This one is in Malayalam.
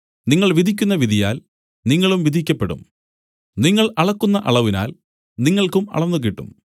നിങ്ങൾ വിധിക്കുന്ന വിധിയാൽ നിങ്ങളും വിധിക്കപ്പെടും നിങ്ങൾ അളക്കുന്ന അളവിനാൽ നിങ്ങൾക്കും അളന്നുകിട്ടും